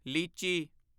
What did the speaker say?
ਲੀਚੀ